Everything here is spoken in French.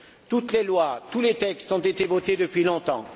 Toutes les lois, tous les textes ont été votés depuis longtemps.